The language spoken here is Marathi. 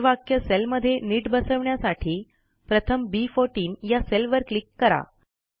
ते वाक्य सेलमध्ये नीट बसवण्यासाठी प्रथम बी14 या सेलवर क्लिक करा